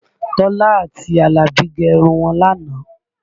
Tọ́lá àti Alabi gẹ irun wọn lánàá